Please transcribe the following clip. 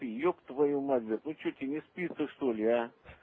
еб твою мать блять ну что тебе не спится что ли а